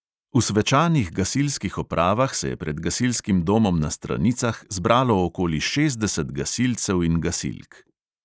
V svečanih gasilskih opravah se je pred gasilskim domom na stranicah zbralo okoli šestdeset gasilcev in gasilk.